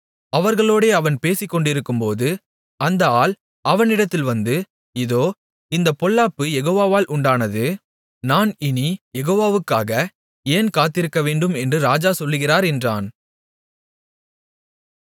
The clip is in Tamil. அவர்களோடே அவன் பேசிக்கொண்டிருக்கும்போது அந்த ஆள் அவனிடத்தில் வந்து இதோ இந்தப் பொல்லாப்பு யெகோவாவால் உண்டானது நான் இனிக் யெகோவாவுக்காக ஏன் காத்திருக்கவேண்டும் என்று ராஜா சொல்லுகிறார் என்றான்